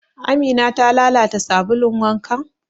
Amina ta lalata sabulun wankan?